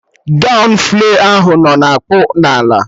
Gọwn flay ahụ nọ na-akpụ n'ala